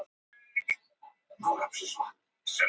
Greinarnar sem ég nú birti eru að mestu í upprunalegri mynd.